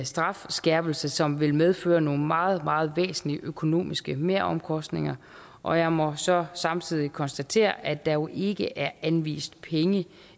strafskærpelse som vil medføre nogle meget meget væsentlige økonomiske meromkostninger og jeg må så samtidig konstatere at der jo ikke er anvist penge